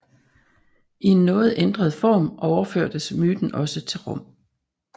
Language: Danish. I en noget ændret form overførtes myten også til Rom